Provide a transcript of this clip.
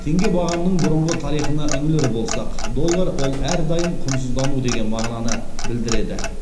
теңге бағамының бұрыңғы тарихына үңілер болсақ доллар ол әрдайым құнсыздану деген мағынаны білдіреді